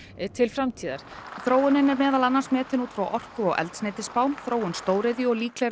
til framtíðar þróunin er meðal annars metin út frá orku og eldsneytisspá þróun stóriðju og líklegri